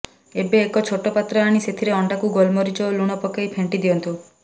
ଏବେ ଏକ ଛୋଟ ପାତ୍ର ଆଣି ସେଥିରେ ଅଣ୍ଡାକୁ ଗୋଲମରିଚ ଓ ଲୁଣ ପକାଇ ଫେଣ୍ଟି ଦିଅନ୍ତୁ